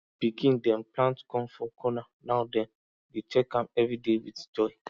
pikin dem plant corn for corner now dem dey check am everyday with joy